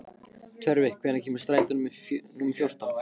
Tjörvi, hvenær kemur strætó númer fjórtán?